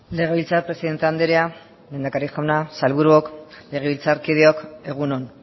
legebiltzar presidente andrea lehendakari jauna sailburuok legebiltzarkideok egun on